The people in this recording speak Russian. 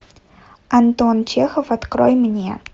антон чехов открой мне